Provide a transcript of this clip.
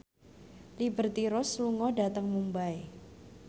Liberty Ross lunga dhateng Mumbai